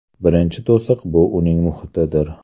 Birinchi to‘siq bu uning muhitidir.